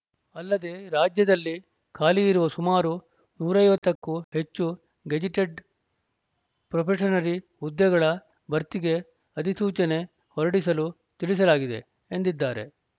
ಅಲ್ಲದೆ ರಾಜ್ಯದಲ್ಲಿ ಖಾಲಿ ಇರುವ ಸುಮಾರು ನೂರ ಐವತ್ತು ಕ್ಕೂ ಹೆಚ್ಚು ಗೆಜಿಟೆಡ್‌ ಪ್ರೊಬೆಷನರಿ ಹುದ್ದೆಗಳ ಭರ್ತಿಗೆ ಅಧಿಸೂಚನೆ ಹೊರಡಿಸಲು ತಿಳಿಸಲಾಗಿದೆ ಎಂದಿದ್ದಾರೆ